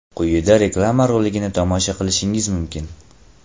Quyida reklama roligini tomosha qilishingiz mumkin.